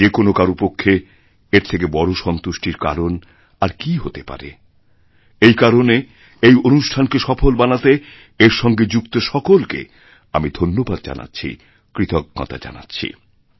যে কোনো কারও পক্ষে এর থেকে বড় সন্তুষ্টির কারণ আর কী হতে পারে এই কারণে এইঅনুষ্ঠানকে সফল বানাতে এর সঙ্গে যুক্ত সকলকে আমি ধন্যবাদ জানাচ্ছি কৃতজ্ঞতাজানাচ্ছি